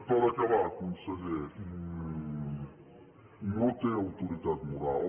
per acabar conseller no té autoritat moral